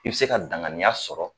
I bi se ka danganiya sɔrɔ